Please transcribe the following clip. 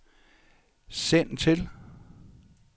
send til